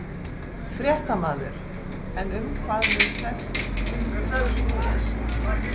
Fréttamaður: En um hvað mun þessi fundur snúast?